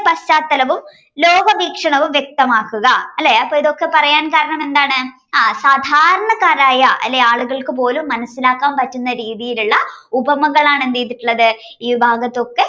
പശ്ചാത്തലവും ലോക വീക്ഷണവും വ്യക്തമാക്കുക അല്ലേ ഇതൊക്കെ പറയാൻ കാരണം എന്താണ് ആഹ് സാധാരണക്കാരായ അല്ലേ ആളുകൾക്ക് പോലും മനസ്സിലാക്കാൻ പറ്റുന്ന രീതിയിലുള്ള ഉപമകളാണ് എന്തെയ്തിട്ടുള്ളത്ത് ഈ ഭാഗത്തൊക്കെ